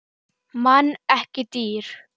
Mann en ekki dýr.